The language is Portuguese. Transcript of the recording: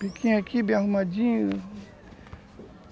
Piquinho aqui, bem arrumadinho.